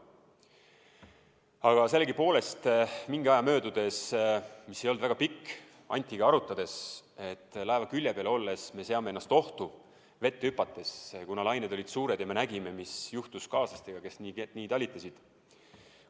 Aga sellegipoolest mingi aja möödudes, mis ei olnud väga pikk, me Antiga arutasime, et laeva külje pealt vette hüpates me seame ennast ohtu, kuna lained olid suured ja me nägime, mis juhtus kaaslastega, kes nii talitasid.